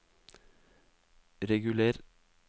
reguler